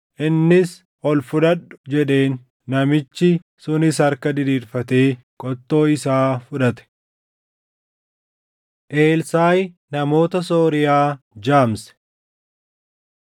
Innis, “Ol fudhadhu” jedheen. Namichi sunis harka diriirfatee qottoo isaa fudhate. Elsaaʼi Namoota Sooriyaa Jaamse